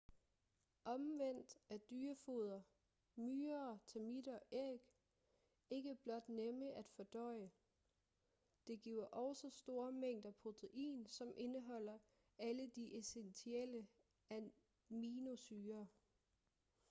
omvendt er dyrefoder myrer termitter æg ikke blot nemme at fordøje. det giver også store mængder protein som indeholder alle de essentielle aminosyrer